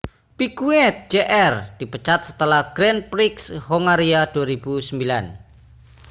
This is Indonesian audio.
piquet jr dipecat setelah grand prix hongaria 2009